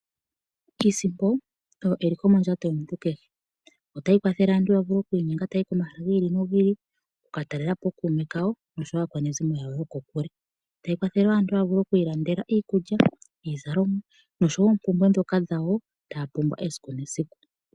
Iisimpo oyo eliko mondjato yomuntu kehe. Otayi kwathele aantu ya vule okwi inyenga taayi komahala gi ili nogi ili, oku ka talelapo ookuume kawo noshowo aakwanezimo yawo yokokule. Tayi kwathele wo aantu ya vule okwi ilandela iikulya, iizalomwa noshowo oompumbwe ndhoka dhawo taa pumbwa esiku nesiku.